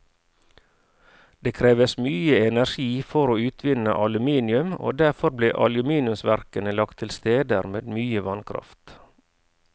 Det kreves mye energi for å utvinne aluminium, og derfor ble aluminiumsverkene lagt til steder med mye vannkraft.